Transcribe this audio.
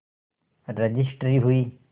registry हुई